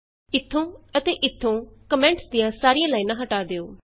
ਇਥੋਂ ਅਤੇ ਇਥੋਂ ਕੋਮੈਂਟਸ ਦੀਆਂ ਸਾਰੀਆਂ ਲਾਈਨਾਂ ਹੱਟਾ ਦਿਉ